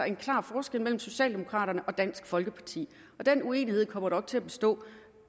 en klar forskel mellem socialdemokraterne og dansk folkeparti og den uenighed kommer til at bestå